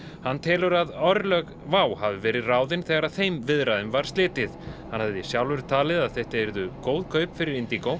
hann telur að örlög WOW hafi verið ráðin þegar þeim viðræðum var slitið hann hafði sjálfur talið að þetta yrðu góð kaup fyrir